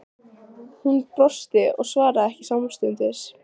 Hún brosti og svaraði ekki samstundis.